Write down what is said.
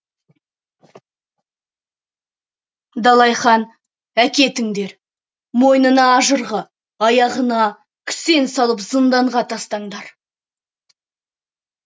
далай хан әкетіңдер мойнына ажырғы аяғына кісен салып зынданға тастаңдар